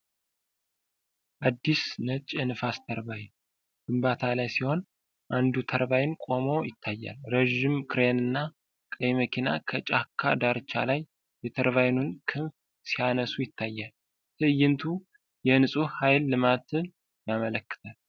አዲስ ነጭ የንፋስ ተርባይን ግንባታ ላይ ሲሆን፣ አንዱ ተርባይን ቆሞ ይታያል። ረዥም ክሬን እና ቀይ መኪና ከ ጫካ ዳርቻ ላይ የ ተርባይኑን ክንፍ ሲያነሱ ይታያል። ትዕይንቱ የ ንፁህ ኃይል ልማትን ያመለክታል።